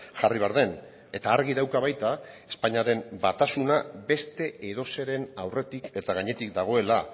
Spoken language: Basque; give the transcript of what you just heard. jarri behar den eta argi dauka baita espainiaren batasuna beste edozeren aurretik eta gainetik dagoela